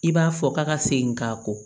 I b'a fɔ ka segin k'a kɔ